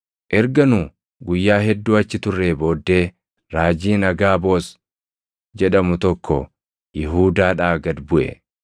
Erga nu guyyaa hedduu achi turree booddee raajiin Agaaboos jedhamu tokko Yihuudaadhaa gad buʼe.